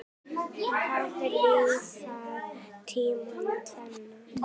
Hann hafði lifað tímana tvenna.